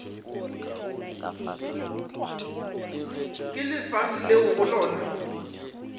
ke lefase leo go lona